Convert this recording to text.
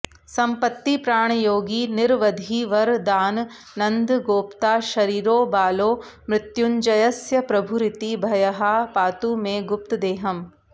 सम्पत्तिप्राणयोगी निरवधिवरदानन्दगोप्ता शरीरो बालो मृत्युञ्जयस्य प्रभुरिति भयहा पातु मे गुप्तदेहम्